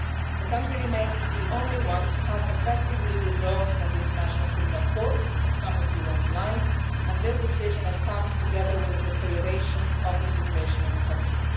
The country remains the only one to have effectively withdrawn from the International Criminal Court, as some of the speakers pointed out, and this decision has come together with a deterioration of the situation in the country.